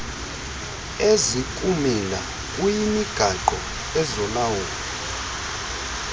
ezikumila kuyimigaqo ezolawulo